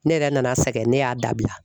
Ne yɛrɛ nana sɛgɛn ne y'a dabila.